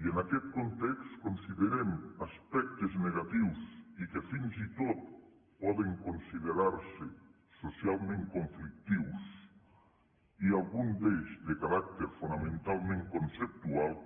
i en aquest context considerem aspectes negatius i que fins i tot poden considerar se socialment conflictius i algun d’ells de caràcter fonamentalment conceptual